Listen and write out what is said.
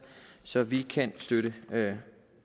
så vi kan støtte